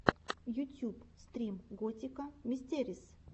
ютюб стрим готика мистэрис